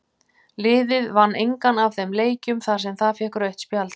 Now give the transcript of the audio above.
Liðið vann engan af þeim leikjum þar sem það fékk rautt spjald.